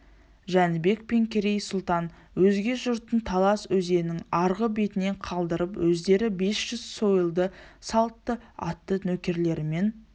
жәнібек пен керей сұлтан өзге жұртын талас өзенінің арғы бетіне қалдырып өздері бес жүз сойылды салт атты нөкерлерімен